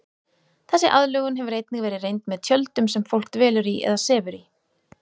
Þessi aðlögun hefur einnig verið reynd með tjöldum sem fólk dvelur í eða sefur í.